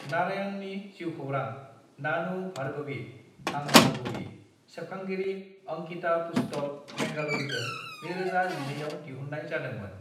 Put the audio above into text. "नारायणनि जिउखौरां, नानू, भार्गवी (आं भार्गवी), सेबखांगिरि अंकिता पुस्तक, बेंगलुरुजों 2012 आव दिहुननाय जादोंमोन।"